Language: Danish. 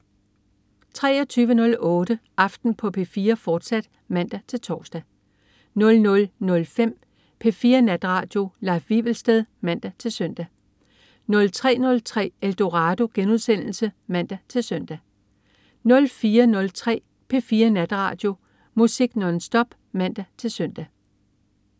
23.08 Aften på P4, fortsat (man-tors) 00.05 P4 Natradio. Leif Wivelsted (man-søn) 03.03 Eldorado* (man-søn) 04.03 P4 Natradio. Musik nonstop (man-søn)